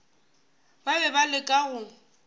ba be ba leka go